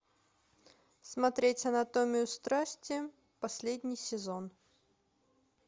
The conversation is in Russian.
смотреть анатомию страсти последний сезон